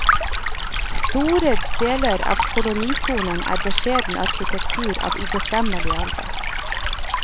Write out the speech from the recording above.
Store deler av kolonisonen er beskjeden arkitektur av ubestemmelig alder.